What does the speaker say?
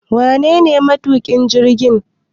Wanene matuƙin jirgin?